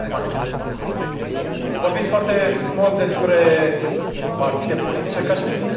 Vorbiți foarte frumos despre partide politice, ca și cum nu sunteți dintr un partid politic.